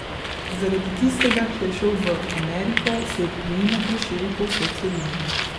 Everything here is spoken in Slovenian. Zaradi tistega, ki je šel v Ameriko, se je priimek razširil po vsej celini.